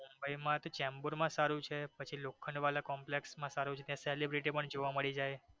મુંબઈ માં તો ચેમ્બુર માં સારું છે પછી લોખંડવાલા complex માં સારું છે ત્યાં સેલેબ્રીટી પણ જોવા મળી જાય